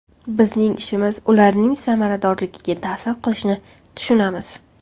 Bizning ishimiz ularning samaradorligiga ta’sir qilishini tushunamiz.